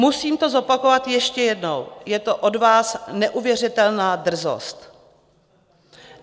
Musím to zopakovat ještě jednou: je to od vás neuvěřitelná drzost.